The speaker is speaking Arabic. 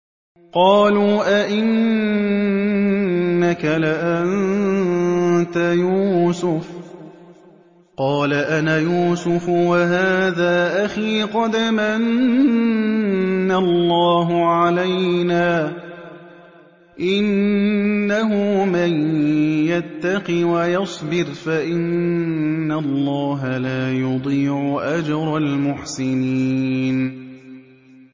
قَالُوا أَإِنَّكَ لَأَنتَ يُوسُفُ ۖ قَالَ أَنَا يُوسُفُ وَهَٰذَا أَخِي ۖ قَدْ مَنَّ اللَّهُ عَلَيْنَا ۖ إِنَّهُ مَن يَتَّقِ وَيَصْبِرْ فَإِنَّ اللَّهَ لَا يُضِيعُ أَجْرَ الْمُحْسِنِينَ